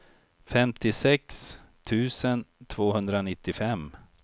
femtiosex tusen tvåhundranittiofem